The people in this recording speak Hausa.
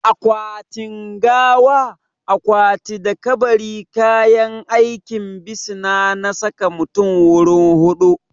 Akwatin gawa, akwati da kabari kayan aikin bisina ne na saka mutum wurin hutu